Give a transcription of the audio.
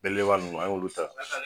Belebeleba ninnu an y'olu ta